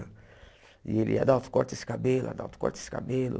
E ele ia Adalto corta esse cabelo, Adalto corta esse cabelo.